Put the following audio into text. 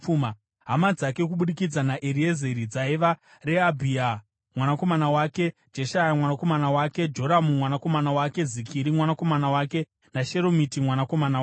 Hama dzake kubudikidza naEriezeri dzaiva: Rehabhia mwanakomana wake, Jeshaya mwanakomana wake, Joramu mwanakomana wake, Zikiri mwanakomana wake naSheromiti mwanakomana wake.